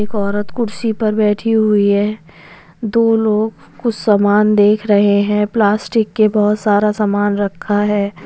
एक औरत कुर्सी पर बैठी हुई है दो लोग कुछ सामान देख रहे हैं प्लास्टिक के बहुत सारा सामान रखा है।